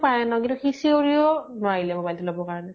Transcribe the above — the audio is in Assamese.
পাৰে ন, কিন্তু সি চিঞৰিও লʼব নোৱাৰিলে mobile তো লʼব ।